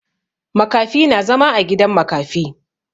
Makafi na zama a gidan makafi.